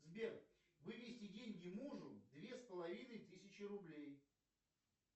сбер вывести деньги мужу две с половиной тысячи рублей